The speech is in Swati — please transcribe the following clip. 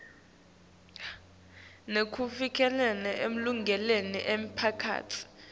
nekuvikela emalungelo emiphakatsi